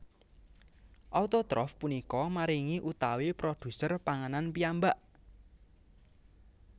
Autotrof punika maringi utawi produser panganan piyambak